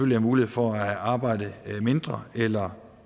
have mulighed for at arbejde mindre eller